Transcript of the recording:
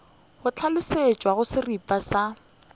go hlalošitšwe go seripa sa